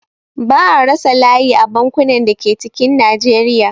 Ba'a rasa layi a bankunan da ke cikin Najeriya